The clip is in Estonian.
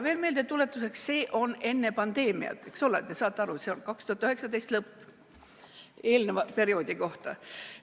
Meeldetuletuseks: see on tehtud enne pandeemiat, eks ole, saate aru, see oli 2019. aasta lõpp, see on eelneva perioodi kohta.